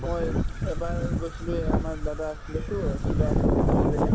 মই এবাৰ গৈছিলো এই আমাৰ দাদা আছিলেতো কিবা হেৰিত আছিলে যে